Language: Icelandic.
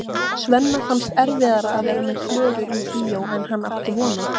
Svenna fannst erfiðara að vera með Klöru í bíói en hann átti von á.